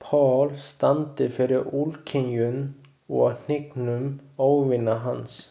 Paul standi fyrir úrkynjun og hnignun óvina hans.